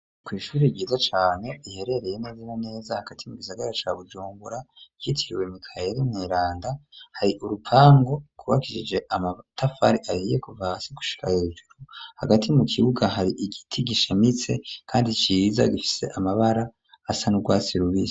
kw,ishure ryiza cane riherereye neza na neza hagati mu gisagara ca Bujumbura yitiriwe mikaheri mweranda, hari urupango gwubakisije amatafari ahiye kuva hasi gushika hejuru, hagati mu kibuga hari igiti gishamitse kandi ciza gifise amabara asa n'urwatsi rubisi.